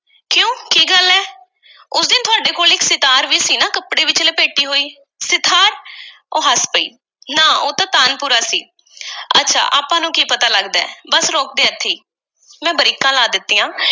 ਤੁਹਾਡੇ ਕੋਲ ਸਿਤਾਰ ਵੀ ਸੀ ਨਾ ਕੱਪੜੇ ਵਿੱਚ ਲਪੇਟੀ ਹੋਈ। ਸਿਤਾਰ? ਉਹ ਹੱਸ ਪਈ, ਨਾ ਉਹ ਤਾਂ ਤਾਨਪੁਰਾ ਸੀ। ਅੱਛਾ, ਆਪਾਂ ਨੂੰ ਕੀ ਪਤਾ ਲੱਗਦੈ? ਬੱਸ, ਰੋਕ ਦੇ ਇੱਥੇ ਈ। ਮੈਂ ਬਰੇਕਾਂ ਲਗਾ ਦਿੱਤੀਆਂ।